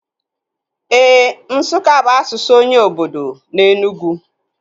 Éè, Nsukka bụ asụsụ onye obodo na Enugwu